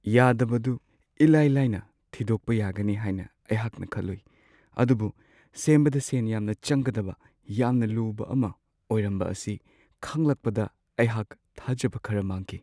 ꯌꯥꯗꯕꯗꯨ ꯑꯗꯨ ꯏꯂꯥꯏ-ꯂꯥꯏꯅ ꯊꯤꯗꯣꯛꯄ ꯌꯥꯒꯅꯤ ꯍꯥꯏꯅ ꯑꯩꯍꯥꯛꯅ ꯈꯜꯂꯨꯏ ꯑꯗꯨꯕꯨ ꯁꯦꯝꯕꯗ ꯁꯦꯟ ꯌꯥꯝꯅ ꯆꯪꯒꯗꯕ ꯌꯥꯝꯅ ꯂꯨꯕ ꯑꯃ ꯑꯣꯏꯔꯝꯕ ꯑꯁꯤ ꯈꯪꯂꯛꯄꯗ ꯑꯩꯍꯥꯛ ꯊꯥꯖꯕ ꯈꯔ ꯃꯥꯡꯈꯤ ꯫